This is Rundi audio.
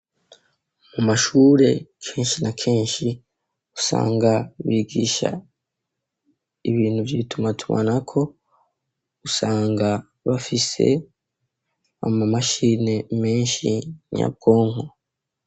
Mu mashure kenshi na kenshi usanga bigisha ibintu vyitumatumanako usanga bafise ama mashini menshi nyabwonko.